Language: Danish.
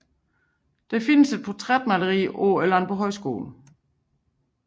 Der findes et portrætmaleri på Landbohøjskolen